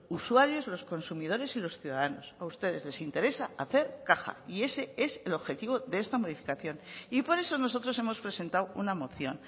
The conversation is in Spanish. usuarios los consumidores y los ciudadanos a ustedes les interesa hacer caja y ese es el objetivo de esta modificación y por eso nosotros hemos presentado una moción